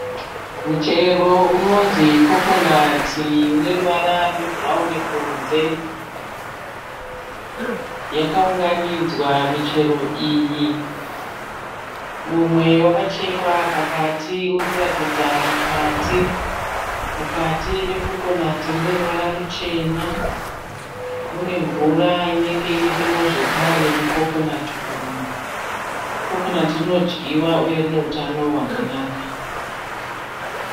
Muchero unonzi Coconut uneruvara rwe bhurauni kunze. Yakaunganidzwa michero iyi. Mumwe wakachekwa pakati urikuratidza mukati. Mukati meCoconut muneruvara ruchena. Munemvura inenge irimo zvekare mu Coconut umu. Coconut rinodyiwa uye rine utano hwakanaka.